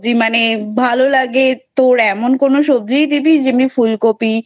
ভালো লাগে তোর এমন কোন সবজিই দিবি যেমন ফুলকপি,